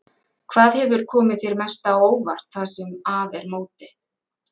Hvað hefur komið þér mest á óvart það sem af er móti?